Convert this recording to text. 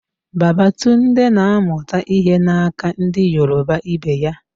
Babatunde na amuta ihe na aka ndi Yoruba Ibe ya